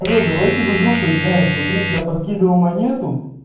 народ давайте в игру поиграем смотреть я подкидывал монету